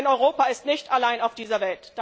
Denn Europa ist nicht allein auf dieser Welt.